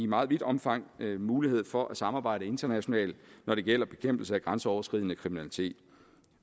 meget vidt omfang mulighed for at samarbejde internationalt når det gælder bekæmpelse af grænseoverskridende kriminalitet